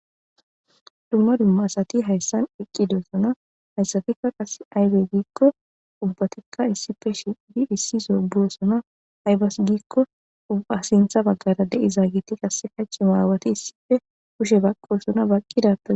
Dumma dumma asati hayssan eqqidoossona hayssatikka qas aybe giikko ubbatikka issife shidi issi zo biosona haybas giikko a sintha baggara deizaa giti qasse kac maawati issife kushe baqqosona baqqidata.